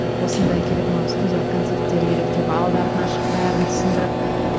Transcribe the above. осындай керек маған студиялық концерттер керек деп алды артына шығып бәрін түсіндіріп